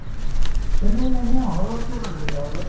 এনে এনে hall ত কেইবাৰ গৈছা hall ত